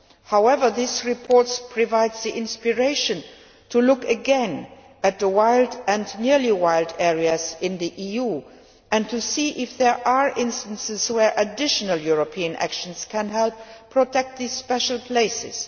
However, this report provides the inspiration to look again at the wild and nearly wild areas in the EU and to see if there are instances where additional European actions can help protect these special places.